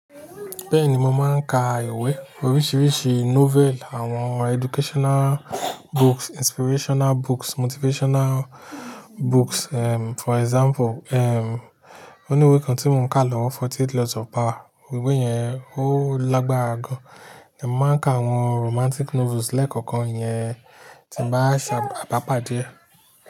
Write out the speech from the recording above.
Bẹ́ẹ̀ni mo máa ń ka ìwé oríṣiríṣi novel, àwọn educational books, inspirational books, motivational books. Eh for example, eh, òní ìwé kan tí mò ń ka lọ́wọ́ forty eight laws of power, ìwé yẹn ó lágbára gan. Èmi máa ń ka àwọn romantic novels lẹ́ẹ̀kọ̀kan iyẹn tí ń bá ṣàbàpàdé e.